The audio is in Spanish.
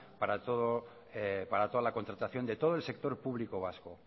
para toda la contratación de todo el sector público vasco